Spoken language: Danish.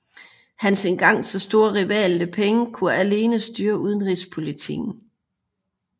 Hans en gang så store rival Li Peng kunne alene styre udenrigspolitikken